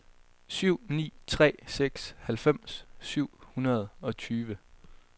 syv ni tre seks halvfems syv hundrede og tyve